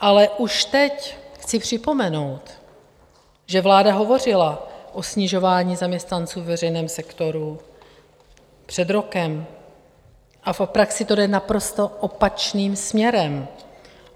Ale už teď chci připomenout, že vláda hovořila o snižování zaměstnanců ve veřejném sektoru před rokem, ale v praxi to jde naprosto opačným směrem.